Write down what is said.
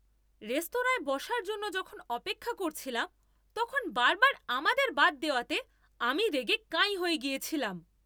রেস্তোরাঁয় বসার জন্য যখন অপেক্ষা করছিলাম, তখন বারবার আমাদের বাদ দেওয়াতে আমি রেগে কাঁই হয়ে গিয়েছিলাম।